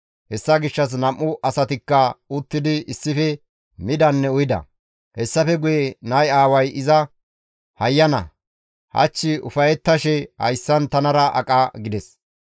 Hessa gishshas nam7u asatikka uttidi issife midanne uyida. Hessafe guye nay aaway iza, «Hayyana, hach ufayettashe hayssan tanara aqa» gides.